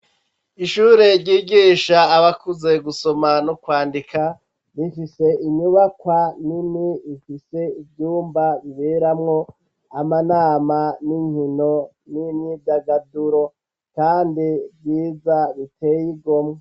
Ishure ryigisha abakuze gusoma n'okwandika rifise inyubakwa nini ifise ivyumba biberamwo amanama n'inkino n'imyidagaduro, kandi ryiza riteye igomwo.